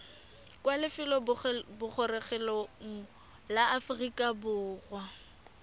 kwa lefelobogorogelong la aforika borwa